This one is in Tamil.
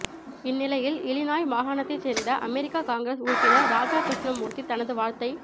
இந்நிலையில் இலினாய் மாகாணத்தைச் சேர்ந்த அமெரிக்கா காங்கிரஸ் உறுப்பினர் ராஜா கிருஷ்ணமூர்த்தி தனது வாழ்த்தை